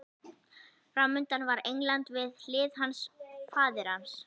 Framundan var England, við hlið hans faðir hans